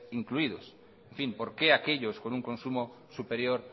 incluidos por qué aquellos con un consumo superior